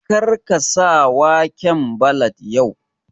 Kar ka sa waƙan ballad yau!